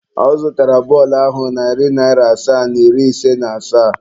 Ọ zụtara bọọlụ ahụ narị naira asaa na iri ise na asaa.